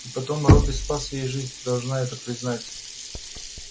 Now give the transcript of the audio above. и потом робби спас ей жизнь ты должна это признать